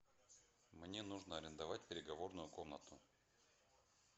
мне нужно арендовать переговорную комнату